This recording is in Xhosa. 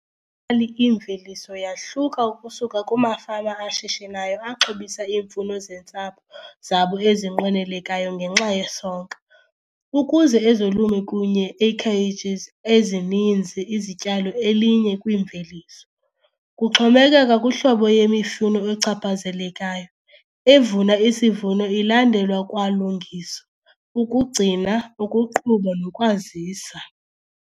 kali imveliso yahluka ukusuka kumafama ashishinayo axhobisa iimfuno zentsapho zabo ezinqwenelekayo ngenxa yesonka, ukuze ezolimo kunye acreages ezininzi izityalo elinye-kwimveliso. Kuxhomekeka kuhlobo yemifuno ochaphazelekayo, evuna isivuno ilandelwa kwalungiswa, ukugcina, ukuqhuba nokwazisa.